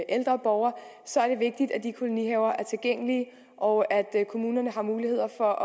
ældre borgere så er det vigtigt at de kolonihaver er tilgængelige og at kommunerne har muligheder for